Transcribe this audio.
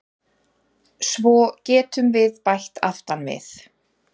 Svo getum við bætt aftan við